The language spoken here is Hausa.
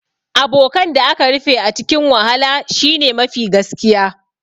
Abokan da aka rufe a cikin wahala shine mafi gaskiya